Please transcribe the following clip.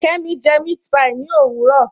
Kẹmi jẹ mẹ̀àtpí ní owurọ